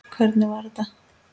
Hvernig var þetta?